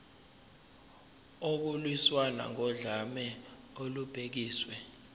ukulwiswana nodlame olubhekiswe